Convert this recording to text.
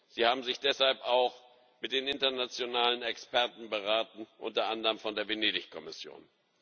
Sie haben sich deshalb auch mit den internationalen Experten beraten, unter anderem von der Venedig Kommission.